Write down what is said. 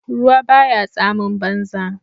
ruwa ba ya tsamin banza